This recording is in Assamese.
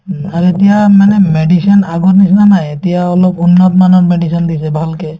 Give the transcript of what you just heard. উম, আৰু এতিয়া মানে medicine আগৰ নিচিনা নাই এতিয়া অলপ উন্নতমানৰ medicine দিছে ভালকে